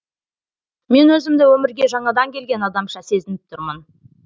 мен өзімді өмірге жаңадан келген адамша сезініп тұрмын